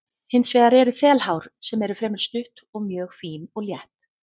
Hins vegar eru þelhár sem eru fremur stutt og mjög fín og létt.